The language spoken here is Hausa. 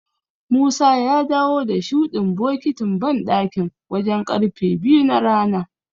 Musa ya dawo da shuɗin bokitin banɗakin wajen ƙarfe biyu na rana.